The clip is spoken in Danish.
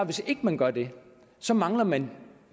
hvis ikke man gør det så mangler man